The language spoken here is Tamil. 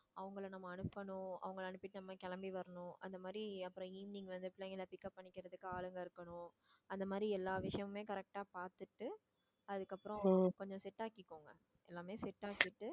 அவங்களை நம்ம அனுப்பணும் அவங்களை அனுப்பிட்டு நம்ம கிளம்பி வரணும் அந்த மாதிரி அப்புறம் evening வந்து பிள்ளைங்களை pick up பண்ணி ஆளுங்க இருக்கணும் அந்த மாதிரி எல்லா விஷயமுமே correct ஆ பார்த்துட்டு அதுக்கு அப்புறம் கொஞ்சம் set ஆக்கிக்கோங்க எல்லாமே set ஆகிட்டு